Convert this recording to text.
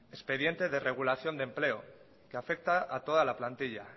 expediente de regulación de empleo que afecta a toda la plantilla